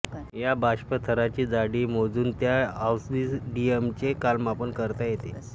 या बाष्पथराची जाडी मोजून त्या ऑब्सिडियमचे कालमापन करता येते